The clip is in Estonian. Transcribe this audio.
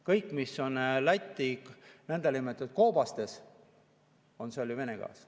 Kõik, mis on Läti nõndanimetatud koobastes, on ju Vene gaas.